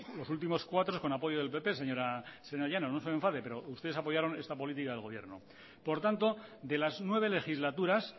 los últimos cuatro con apoyos del pp señora llanos no se me enfade pero ustedes apoyaron esta política de gobierno por lo tanto de las nueve legislaturas